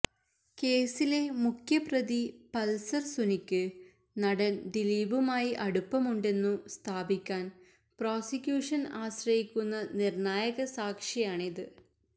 കേസിലെ മുഖ്യ പ്രതി പൾസർ സുനിക്ക് നടൻ ദിലീപുമായി അടുപ്പമുണ്ടെന്നു സ്ഥാപിക്കാൻ പ്രോസിക്യൂഷൻ ആശ്രയിക്കുന്ന നിർണായക സാക്ഷിയാണിത്